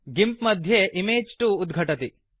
गिम्प मध्ये इमेज 2 उद्घटति